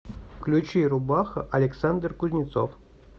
включи рубаха александр кузнецов